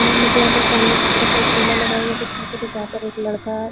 यहाँ मुझे यहाँ पर सामने की तरफ एक ठेला लगा हुआ दिखाई दे रहा है जहाँ पर एक लड़का--